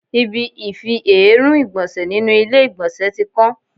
Ibi ifi èérún ìgbọ̀nsẹ̀ nínú ilé ìgbọ̀nsẹ̀ tí kán.